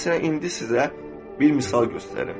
Məsələn, indi sizə bir misal göstərim.